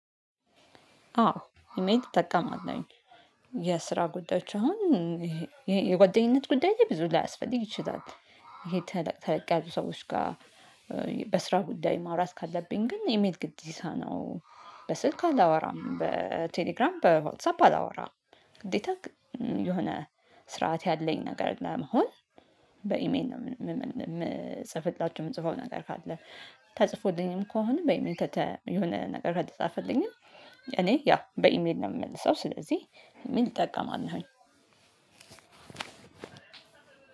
አዎ ኢሜል ይጠቀማል። የስራ ጉዳዮች አሁን ይሄ የጓደኝነት ጉዳይ ላይ ብዙ ላያስፈልግ ይችላል። ይሄ ተለቅ ተለቅ ያዙ ሰዎች ጋር። በስራ ጉዳይ ማውራት ካለብኝ ግን ኢሜል ግዴታ ነው። በስልክ አላወራም በቴሌግራም በዋትሳፕ አላወራም። ግዴታ የሆነ ስርዓት ያለኝ ነገር ለመሆን በኢሜን ነው የምጽፍላችሁ የምጽፈው ነገር ካለ። ተጽፎልኝም ከሆነ በይም የሆነ ነገር ከተጻፈልኝ እኔ ያ በኢሜል ነው የምመልሰው። ስለዚህ ምን ይጠቀማለሁኝ?